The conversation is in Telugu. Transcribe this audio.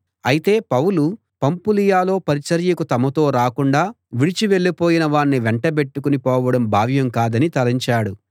అయితే పౌలు పంఫులియలో పరిచర్యకు తమతో రాకుండా విడిచి వెళ్ళిపోయిన వాణ్ణి వెంటబెట్టుకుని పోవడం భావ్యం కాదని తలంచాడు